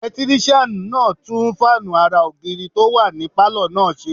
Ẹlẹtírísíàn náà tún fáànù ara ògiri tó wà ní pálọ̀ náà ṣe